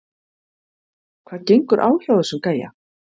Hvað gengur á hjá þessum gæja???